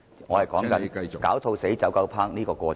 我只是想解說"狡兔死，走狗烹"的過程。